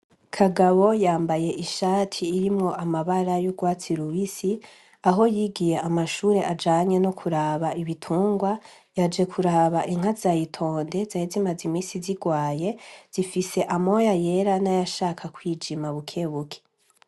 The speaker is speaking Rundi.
Kagabo yambaye ishati irimwo amabara y'urwatsi rubisi aho yigiye amashure ajanye no kuraba ibitungwa yaje kuraba inka zayitonde zari zimaze imisi zirwaye zifise amoya yera n'ayashaka kwijima bukebuke.